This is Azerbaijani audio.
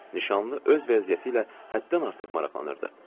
Nişanlı öz vəziyyəti ilə həddən artıq maraqlanırdı.